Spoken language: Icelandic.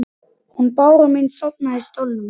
Hún Bára mín sofnaði í stólnum sínum.